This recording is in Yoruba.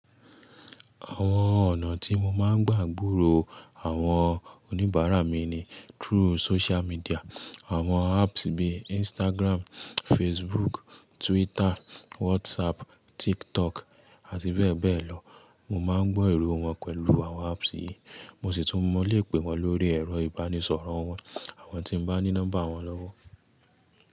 Àwọn ọ̀nà tí mo máa ń gbàǹgbòró àwọn oníbàárà mi ni through social media, àwọn apps bí Instagram, Facebook, Twitter, WhatsApp, TikTok àti bẹ́ẹ̀ bẹ́ẹ̀ lọ. Mo máa ń gbọ́ èrò wọn pẹ̀lú àwọn apps yìí, mo sì tún mọ̀ lè pè wọ́n lórí ẹ̀rọ ìbánisọ̀rọ̀ wọn àwọn tí n bá ní nọ́mbà wọn lọ́wọ́.